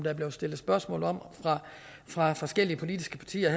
er blevet stillet spørgsmål om fra forskellige politiske partier